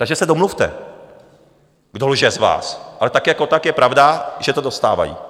Takže se domluvte, kdo lže z vás., ale tak jako tak je pravda, že to dostávají.